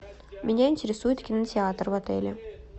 меня интересует кинотеатр в отеле